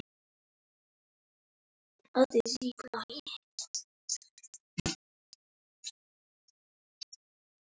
Ég hef verið hérna síðan.